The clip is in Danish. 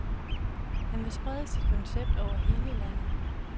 Han vil sprede sit koncept over hele landet.